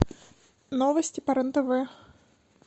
новости по рен тв